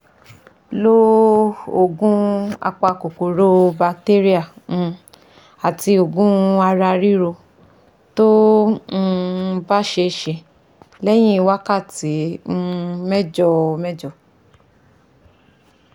Lo òògù apa kòkòrò batéríà um àti òògùn ara ríro tó um bá ṣeése, lẹ́yìn wákàtí um mẹ́jọ mẹ́jọ